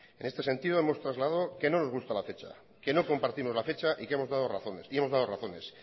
en este sentido hemos trasladado que no nos gusta la fecha que no compartimos la fecha y hemos dado razones